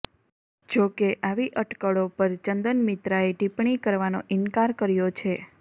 જો કે આવી અટકળો પર ચંદન મિત્રાએ ટીપ્પણી કરવાનો ઈન્કાર કર્યો છે